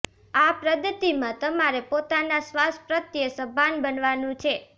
આ પદ્ધતિમાં તમારે પોતાના શ્વાસ પ્રત્યે સભાન બનાવાનું છે